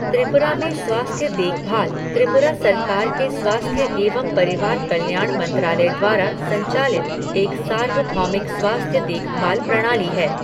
त्रिपुरा में स्वास्थ्य देखभाल त्रिपुरा सरकार के स्वास्थ्य एवं परिवार कल्याण मंत्रालय द्वारा संचालित एक सार्वभौमिक स्वास्थ्य देखभाल प्रणाली है।